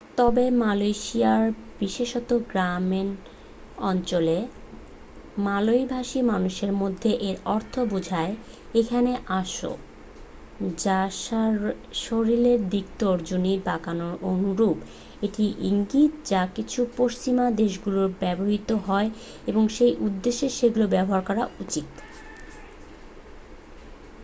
"তবে মালয়েশিয়ায় বিশেষত গ্রামীণ অঞ্চলে মালয় ভাষী মানুষের মধ্যে এর অর্থ বোঝায় "এখানে আসো" যা শরীরের দিকে তর্জনী বাঁকানোর অনুরূপ একটি ইঙ্গিত যা কিছু পশ্চিমা দেশগুলিতে ব্যবহৃত হয় এবং সেই উদ্দেশ্যেই সেগুলো ব্যবহার করা উচিত।